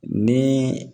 Ni